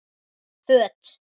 Föt